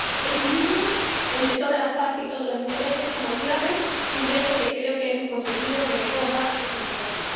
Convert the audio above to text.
Equilibrio entre todas las partes y todos los intereses como clave y reto que creo que hemos conseguido que recoja este informe.